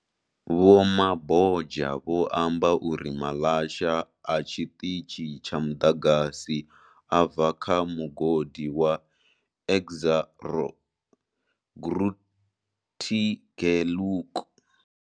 Vho Mabotja vho amba uri maḽasha a tshiṱitshi tsha muḓagasi a bva kha mugodi wa Exxaro Grootegeluk.